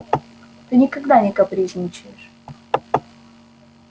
ты никогда не капризничаешь